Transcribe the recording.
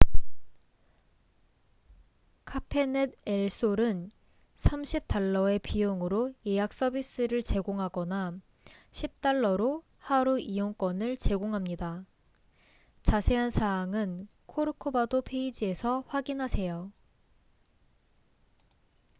카페넷 엘 솔은 us$30의 비용으로 예약 서비스를 제공하거나 $10로 하루 이용권을 제공합니다. 자세한 사항은 코르코바도 페이지에서 확인하세요